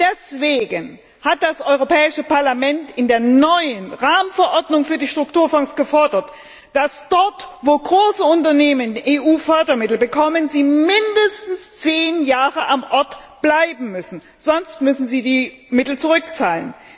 Deswegen hat das Europäische Parlament in der neuen Rahmenverordnung für die Strukturfonds gefordert, dass dort, wo große Unternehmen EU Fördermittel bekommen, sie mindestens zehn Jahre am Ort bleiben müssen, sonst müssen sie die Mittel zurückzahlen.